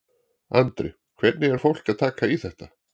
Andri: Hvernig er fólk að taka í þetta?